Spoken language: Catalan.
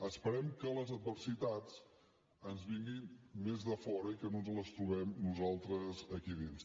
esperem que les adversitats ens vinguin més de fora i que no ens les trobem nosaltres aquí dins